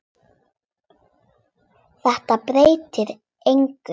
Þetta breytir engu.